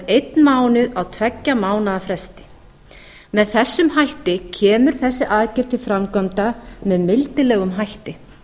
einn mánuð á tveggja mánaða hætti með þessum hætti kemur þessi aðgerð til framkvæmda með mildilega hætti